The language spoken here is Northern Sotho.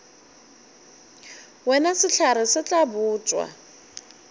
wena sehlare se tla botšwa